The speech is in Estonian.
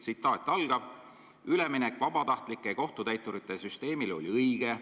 Te ütlesite seal: "Üleminek vabatahtlike kohtutäiturite süsteemile oli õige.